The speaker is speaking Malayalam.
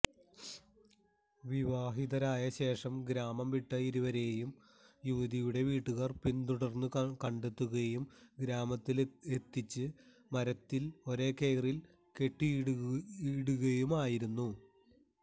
വിവാഹിതരായ ശേഷം ഗ്രാമം വിട്ട ഇരുവരെയും യുവതിയുടെ വീട്ടുകാര് പിന്തുടര്ന്നു കണ്ടെത്തുകയും ഗ്രാമത്തിലെത്തിച്ചു മരത്തില് ഒരേ കയറില് കെട്ടിയിടുകയുമായിരുന്നു